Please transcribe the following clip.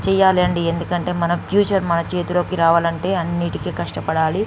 చేయాలండి ఎందుకంటే మన ఫ్యూచర్ మన చేతిలోకి రావాలంటే అన్నిటికీ కష్టపడాలి.